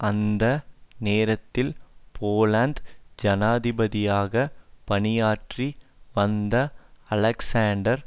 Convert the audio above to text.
அந்த நேரத்தில் போலந்து ஜனாதிபதியாக பணியாற்றி வந்த அலெக்ஸாண்டர்